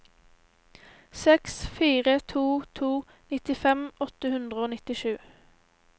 seks fire to to nittifem åtte hundre og nittisju